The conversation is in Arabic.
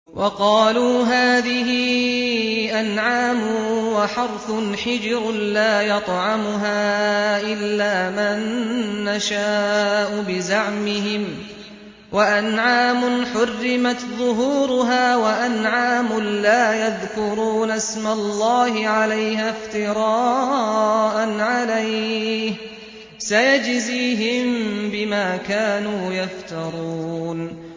وَقَالُوا هَٰذِهِ أَنْعَامٌ وَحَرْثٌ حِجْرٌ لَّا يَطْعَمُهَا إِلَّا مَن نَّشَاءُ بِزَعْمِهِمْ وَأَنْعَامٌ حُرِّمَتْ ظُهُورُهَا وَأَنْعَامٌ لَّا يَذْكُرُونَ اسْمَ اللَّهِ عَلَيْهَا افْتِرَاءً عَلَيْهِ ۚ سَيَجْزِيهِم بِمَا كَانُوا يَفْتَرُونَ